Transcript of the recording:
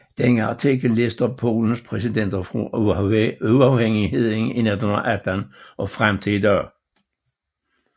Denne artikel lister Polens præsidenter fra uafhængigheden i 1918 og frem til i dag